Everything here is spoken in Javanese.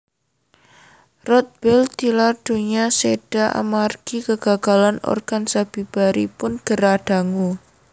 Rodbell tilar donya séda amargi kegagalan organ sabibaripun gerah dangu